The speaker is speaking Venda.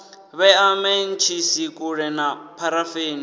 vhea mentshisi kule na pharafeni